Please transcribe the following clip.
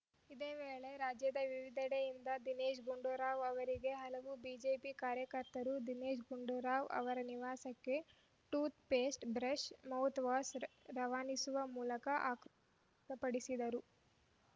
ಇದೇ ವೇಳೆ ರಾಜ್ಯದ ವಿವಿಧೆಡೆಯಿಂದ ದಿನೇಶ್‌ ಗುಂಡೂರಾವ್‌ ಅವರಿಗೆ ಹಲವು ಬಿಜೆಪಿ ಕಾರ್ಯಕರ್ತರು ದಿನೇಶ್‌ ಗುಂಡೂರಾವ್‌ ಅವರ ನಿವಾಸಕ್ಕೆ ಟೂಥ್‌ ಪೇಸ್ಟ್‌ ಬ್ರಷ್‌ ಮೌತ್‌ವಾಷ್‌ ರವಾನಿಸುವ ಮೂಲಕ ಆಕ್ರೋ ವ್ಯಕ್ತಪಡಿಸಿದರು